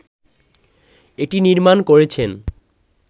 এটি নির্মাণ করেছেন